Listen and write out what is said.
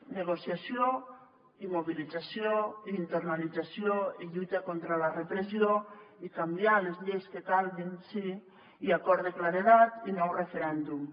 negociació i mobilització i internalització i lluita contra la repressió i canviar les lleis que calguin sí i acord de claredat i nou referèndum